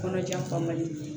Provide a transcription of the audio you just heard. Kɔnɔjan fa man di